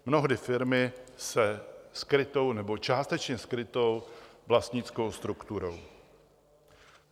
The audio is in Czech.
Mnohdy firmy se skrytou nebo částečně skrytou vlastnickou strukturou.